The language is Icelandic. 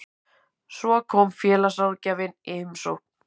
Svo kom félagsráðgjafinn í heimsókn.